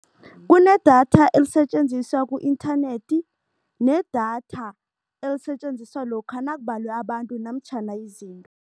Kunedatha elisetjenziswa ku-internet nedatha elisetjenziswa lokha nakubalwe abantu namtjhana izinga.